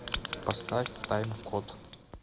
поставь таймкод